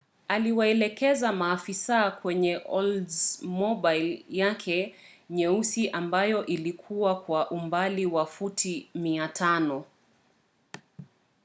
aliwaelekeza maafisa kwenye oldsmobile yake nyeusi ambayo ilikiwa kwa umbali wa futi 500